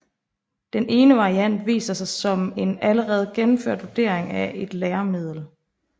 Den ene variant viser sig som en allerede gennemført vurdering af et læremiddel